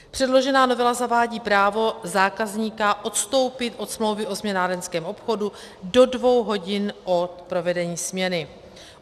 Předložená novela zavádí právo zákazníka odstoupit od smlouvy o směnárenském obchodu do dvou hodin od provedení směny.